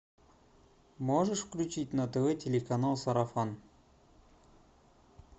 можешь включить на тв телеканал сарафан